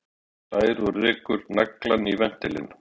Hann hlær og rekur naglann í ventilinn.